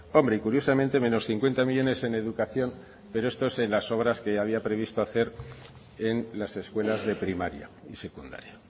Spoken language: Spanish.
hombre y curiosamente menos cincuenta millónes en educación pero esto es en las obras que había previsto hacer en las escuelas de primaria y secundaria